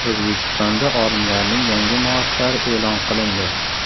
O‘zbekistonda olimlarning yangi maoshlari e’lon qilindi.